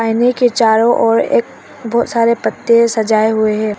आईने के चारों ओर एक बहुत सारे पत्ते सजे हुए हैं।